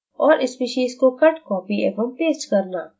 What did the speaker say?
और species को cut copy एवं पेस्ट करना